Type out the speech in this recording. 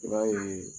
I b'a ye